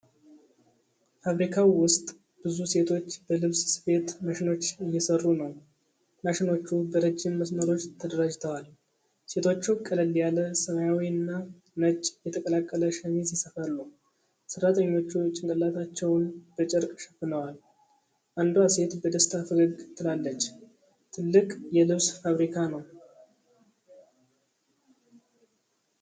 ፋብሪካው ውስጥ ብዙ ሴቶች በልብስ ስፌት ማሽኖች እየሰሩ ነው። ማሽኖቹ በረጅም መስመሮች ተደራጅተዋል። ሴቶቹ ቀለል ያለ ሰማያዊና ነጭ የተቀላቀለ ሸሚዝ ይሰፋሉ። ሠራተኞቹ ጭንቅላታቸውን በጨርቅ ሸፍነዋል። አንዷ ሴት በደስታ ፈገግ ትላለች። ትልቅ የልብስ ፋብሪካ ነው።